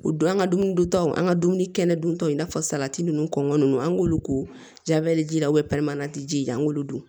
U don an ka dumuni duntaw an ka dumuni kɛnɛ duntaw i n'a fɔ salati ninnu kɔngɔ ninnu an k'olu ko jabali ji la ji ji an k'olu dun